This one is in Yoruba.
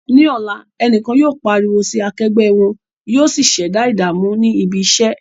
Ní ọ̀la, ẹnìkan yóò pariwo sí akẹgbẹ́ wọn, yóò sì ṣẹ̀dá ìdààmú ní ibi iṣẹ́.